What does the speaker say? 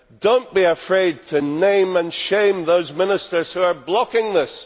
Do not be afraid to name and shame those ministers who are blocking this.